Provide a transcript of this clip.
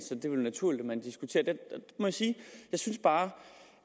så det er vel naturligt at man diskuterer det jeg synes bare